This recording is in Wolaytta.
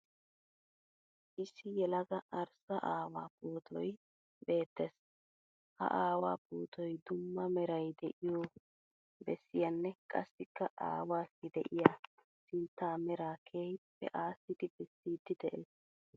Issi yelaga arissa aawaa pootoyi beettees. Ha aawaa pootoyi dumma meray de'iyo bessiyaanne qassikka aawaassi de'iya sinttaa meraa keehippe assidi bessiiddi de'ees.